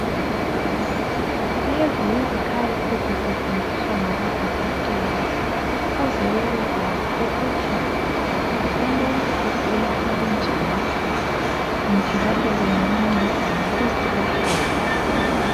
Lezi yizikhali ezisetshenziswa ngabodokotela ukube bebekwazi ukuthi umuntu ugula okunjani njalo bengamceda ngaluphi uhlobo.